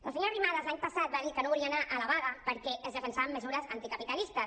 la senyora arrimadas l’any passat va dir que no volia anar a la vaga perquè es defensaven mesures anticapitalistes